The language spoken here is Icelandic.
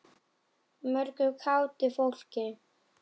Mörgu kátu fólki.